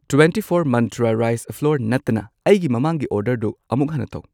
Twenty four Mantra rice flour ꯅꯠꯇꯅ ꯑꯩꯒꯤ ꯃꯃꯥꯡꯒꯤ ꯑꯣꯔꯗꯔꯗꯨ ꯑꯃꯨꯛ ꯍꯟꯅ ꯇꯧ꯫